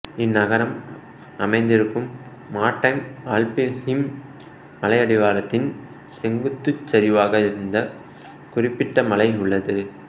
இந்நகரம் அமைந்திருக்கும் மார்ட்டைம் ஆல்ப்ஸின் மலையடிவாரத்தின் செங்குத்துச் சரிவாக இந்தக் குறிப்பிட்ட மலை உள்ளது